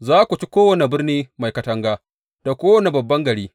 Za ku ci kowane birni mai katanga, da kowane babban gari.